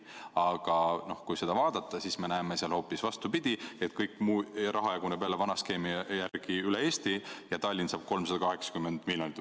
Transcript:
Aga kui vaadata, siis me näeme hoopis vastupidist: kõik raha jaguneb jälle vana skeemi järgi üle Eesti ja Tallinn saab 380 miljonit.